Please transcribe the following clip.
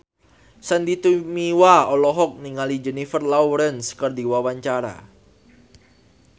Sandy Tumiwa olohok ningali Jennifer Lawrence keur diwawancara